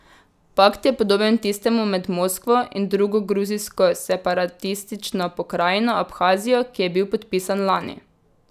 Pakt je podoben tistemu med Moskvo in drugo gruzijsko separatistično pokrajino Abhazijo, ki je bil podpisan lani.